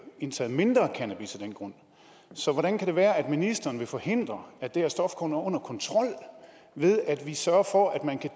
indtaget mindre cannabis af den grund så hvordan kan det være at ministeren vil forhindre at det her stof kommer under kontrol ved at vi sørger for at man kan